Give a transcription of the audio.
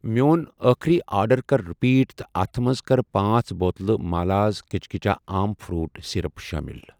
میٚون أٔخری آرڈر کر رِپیٖٹ تہٕ اتھ مَنٛز کر پانژھ بوتلہٕ مالاز کچچا آم فرٛوٗٹ سِرپ شٲمِل۔